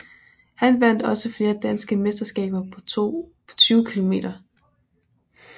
Han vandt også flere danske mesterskaber på 20 km